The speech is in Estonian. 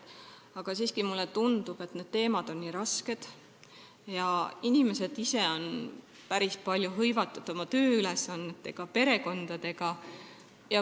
Aga siiski mulle tundub, et need teemad on nii rasked ja inimesed on päris palju hõivatud oma tööülesannetega ja perekonnaga.